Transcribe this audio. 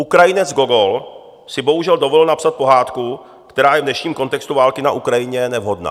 Ukrajinec Gogol si bohužel dovolil napsat pohádku, která je v dnešním kontextu války na Ukrajině nevhodná.